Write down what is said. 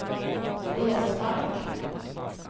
Blåsmark